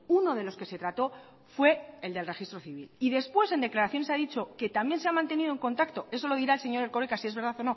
uno de los que se trató fue el del registro civil y después en declaraciones ha dicho que también se ha mantenido en contacto so lo dirá el señor erkoreka si es verdad